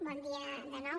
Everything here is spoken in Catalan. bon dia de nou